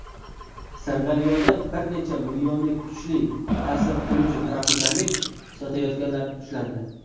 Sirdaryoda bir necha millionlik kuchli ta’sir qiluvchi "Tropikamid" sotayotganlar ushlandi.